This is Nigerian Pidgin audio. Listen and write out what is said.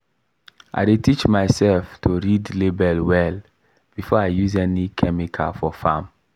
i teach myself to read label well before i use any chemical for farm.